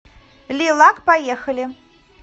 ли лак поехали